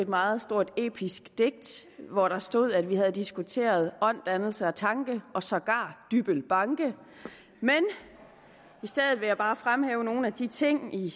et meget stort episk digt hvor der stod at vi havde diskuteret ånd dannelse og tanke og sågar dybbøl banke men i stedet vil jeg bare fremhæve nogle af de ting i